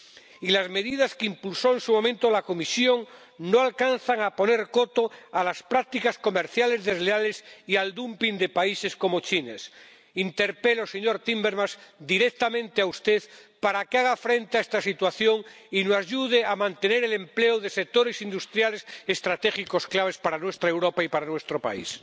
y las medidas que impulsó en su momento la Comisión no alcanzan a poner coto a las prácticas comerciales desleales y al dumping de países como China. Le interpelo a usted directamente, señor Timmermans, para que haga frente a esta situación y nos ayude a mantener el empleo de sectores industriales estratégicos claves para nuestra Europa y para nuestro país.